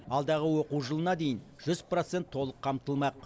алдағы оқу жылына дейін жүз процент толық қамтылмақ